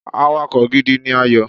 Ayo is a good driver